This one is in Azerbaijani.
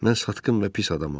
Mən satqın və pis adamam.